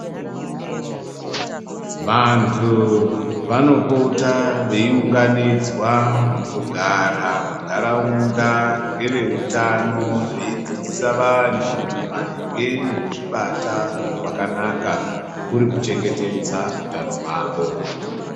Vantu vanopota veiunganidzwa mukugara munharaunda ngeveutano veidzidziswa maringe nekuzvibata kwakanaka kuri kuchengetedza utano hwavo.